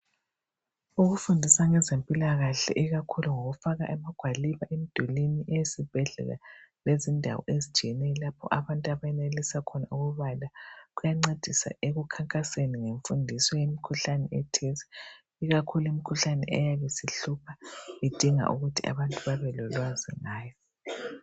Ukufundisa abezempilakahle ikakhulu ngokufaka amagwaliba emdulwini eyesibhedlela lezindawo abantu abenelisa khona ukubala. Kuyancedisa emkhankasweni ukufundisa ngemikhuhlane ethize. Ikakhulu imikhuhlane eyabe isihlupha edinga ukuthi abantu babe lolwazi ngayo